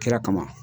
Kira kama